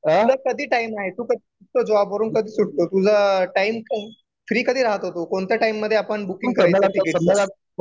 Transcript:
तुला कधी टाइम आहे, तू कधी निघतो जॉब वरून, कधी सुटतो तूझा टाइम काये फ्री कधी राहतो तू कोणत्या टाइम मध्ये आपण बूकिंग करायचं